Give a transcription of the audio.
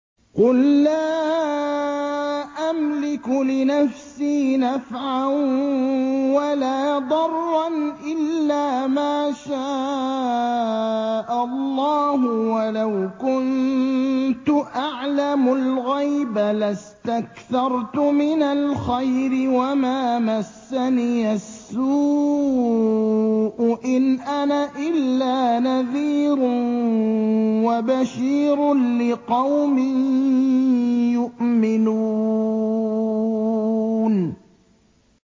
قُل لَّا أَمْلِكُ لِنَفْسِي نَفْعًا وَلَا ضَرًّا إِلَّا مَا شَاءَ اللَّهُ ۚ وَلَوْ كُنتُ أَعْلَمُ الْغَيْبَ لَاسْتَكْثَرْتُ مِنَ الْخَيْرِ وَمَا مَسَّنِيَ السُّوءُ ۚ إِنْ أَنَا إِلَّا نَذِيرٌ وَبَشِيرٌ لِّقَوْمٍ يُؤْمِنُونَ